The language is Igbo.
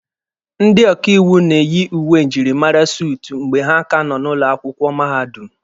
Ndị ọkaiwu na-eyi uwe njirimara suutu mgbe ha ka nọ ụlọ akwụkwọ mahadum